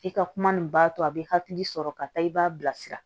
I ka kuma nin b'a to a bɛ hakili sɔrɔ ka taa i b'a bilasira